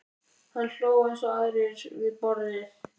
Hann hló eins og aðrir við borðið.